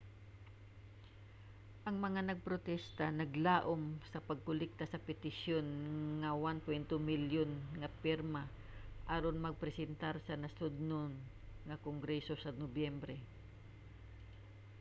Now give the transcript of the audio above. ang mga nagprotesta naglaom sa pagkolekta sa petisyon nga 1.2 milyon nga pirma aron mapresentar sa nasudnon nga kongreso sa nobyembre